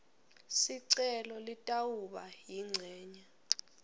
sicelo litawuba yincenye